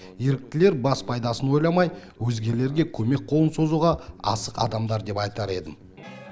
еріктілер бас пайдасын ойламай өзгелерге көмек қолын созуға асық адамдар деп айтар едім